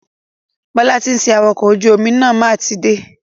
Bọ́lá ti ń ṣe awakọ̀ ojú omi máa tó dé.